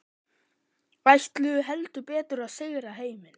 Ætluðu heldur betur að sigra heiminn.